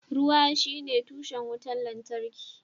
Ruwa shine tushen wutar lantarki